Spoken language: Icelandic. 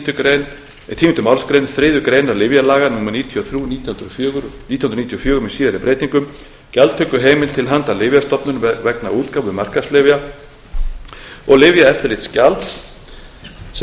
enda er í tíundu málsgrein þriðju greinar lyfjalaga númer níutíu og þrjú nítján hundruð níutíu og fjögur með síðari breytingum gjaldtökuheimild til handa lyfjastofnun vegna útgáfu markaðslyfja og lyfjaeftirlitsgjalds sem